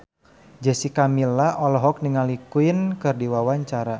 Jessica Milla olohok ningali Queen keur diwawancara